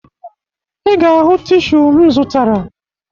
Ị ga-ahụ tishu m zụtara